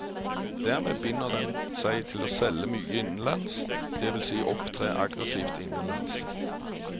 Dermed binder den seg til å selge mye innenlands, det vil si opptre aggressivt innenlands.